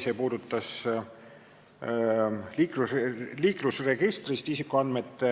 See puudutab liiklusregistrist isikuandmete